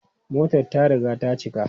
Motar ta riga ta cika.